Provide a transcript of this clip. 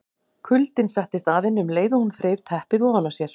Kuldinn settist að henni um leið og hún þreif teppið ofan af sér.